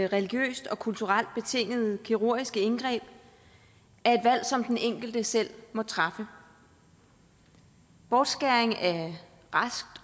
religiøst og kulturelt betingede kirurgiske indgreb er et valg som den enkelte selv må træffe bortskæring af raskt